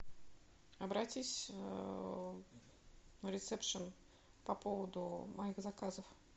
обратись на рисепшен по поводу моих заказов